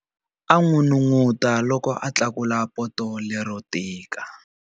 A n'unun'uta loko a tlakula poto lero tika.